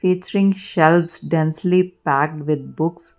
it seems densely packed with books.